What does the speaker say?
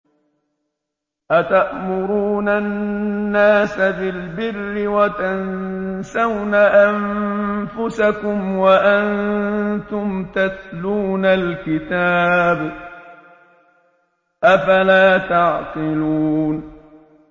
۞ أَتَأْمُرُونَ النَّاسَ بِالْبِرِّ وَتَنسَوْنَ أَنفُسَكُمْ وَأَنتُمْ تَتْلُونَ الْكِتَابَ ۚ أَفَلَا تَعْقِلُونَ